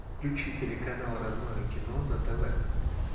включи телеканал родное кино на тв